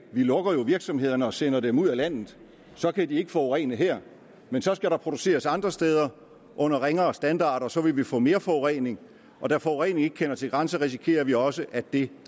vi lukker jo virksomhederne og sender dem ud af landet og så kan de ikke forurene her men så skal der produceres andre steder under ringere standarder og så vil vi få mere forurening og da forurening ikke kender til grænser risikerer vi også at den